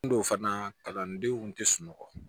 N don fana kalandenw tɛ sunɔgɔ